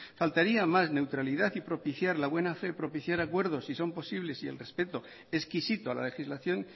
faltaría más n neutralidad y propiciar la buen fe propiciar acuerdos si son posibles y el respeto exquisito a la legislación